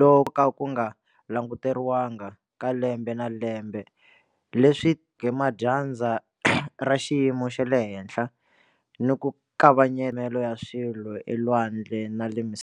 loku ko ka ku nga languteriwanga ka lembe na lembe leswi tiseke madyandza ra xiyimo xa le henhla ni ku kavanyeteka ya swilo elwandle na le misaveni.